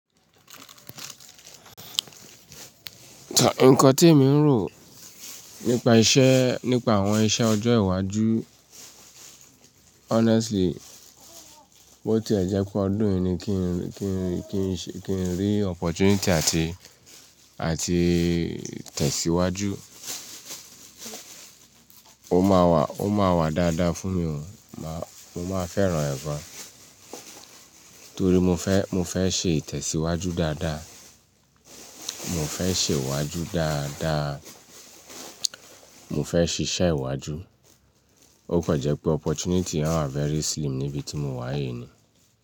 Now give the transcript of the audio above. Nǹkan tí emi ń rò nípa iṣẹ́, nípa àwọn iṣẹ́ ọjọ́ iwájú honestly, bó ti ẹ jẹ pé ọdún yìí ni kí n rí opportunity àti, àti tẹ̀síwájú. Ó máa wà, ó máa wà dáadáa fún mi o, mo máa fẹ́ràn ẹ gán. Torí mo fẹ́, mo fẹ́ ṣe ìtẹ̀síwájú dáadáa, mo fẹ́ ṣe ìwájú dáadáa, mo fẹ́ ṣiṣẹ́ iwájú. Ó kan jẹ́ pé opportunity yen wa very slim níbi tí mo wà yìí ni.